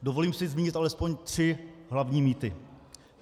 Dovolím si zmínit alespoň tři hlavní mýty.